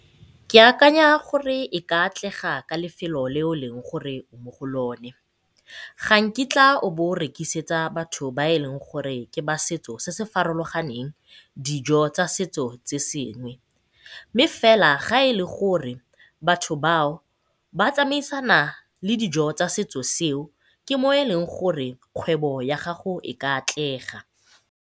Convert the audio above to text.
Ke akanya gore e ka atlega ka lefelo leo leng gore mo go lone. Ga nkitla o bo o rekisetsa batho ba e leng gore ke ba setso se se farologaneng dijo tsa setso se sengwe. Mme fela ga e le gore batho bao ba tsamaisana le dijo tsa setso seo ke mo e leng gore kgwebo ya gago e ka atlega.